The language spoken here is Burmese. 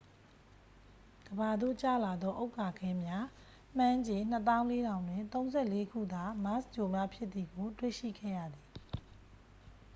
ကမ္ဘာသို့ကျလာသော ဥက္ကာခဲများ မှန်းခြေ 24000 တွင် 34ခုသာ မားစ်ဂြိုဟ်မှဖြစ်သည်ကို တွေ့ရှိခဲ့ရသည်